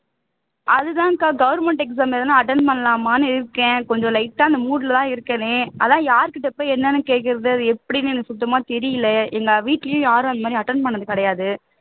அது தான்கா government exam எழுதுனா attend பண்ணலாமான்னு இருக்கேன் கொஞ்சம் light ஆ அந்த mood ல தான் இருக்கேன் அதான் யார்கிட்ட போய் என்னன்னு கேக்கிறது அது எப்படின்னு எனக்கு தெரியலை எங்க வீட்லையும் யாரும் அந்த மாதிரி attend பண்ணினது கிடையாது